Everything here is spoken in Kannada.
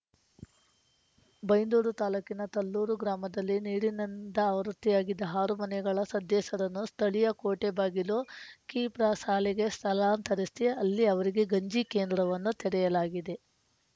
ಬೈಂದೂರು ತಾಲೂಕಿನ ತಲ್ಲೂರು ಗ್ರಾಮದಲ್ಲಿ ನೀರಿನಿಂದಾವೃತವಾಗಿದ್ದ ಆರು ಮನೆಗಳ ಸದಸ್ಯರನ್ನು ಸ್ಥಳೀಯ ಕೋಟೆಬಾಗಿಲು ಕಿಪ್ರಾಶಾಲೆಗೆ ಸ್ಥಳಾಂತರಿಸ್ಯ ಅಲ್ಲಿ ಅವರಿಗೆ ಗಂಜಿ ಕೇಂದ್ರವನ್ನು ತೆರೆಯಲಾಗಿದೆ